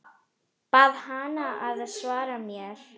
Bað hana að svara mér.